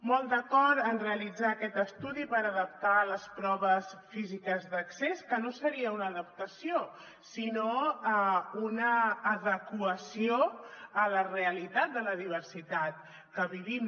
molt d’acord en realitzar aquest estudi per adaptar les proves físiques d’accés que no seria una adaptació sinó una adequació a la realitat de la diversitat que vi·vim